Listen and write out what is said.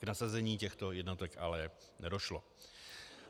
K nasazení těchto jednotek ale nedošlo.